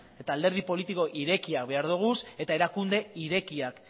eta alderdi politiko irekia behar ditugu eta erakunde irekiak